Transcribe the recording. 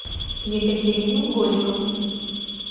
екатерину голикову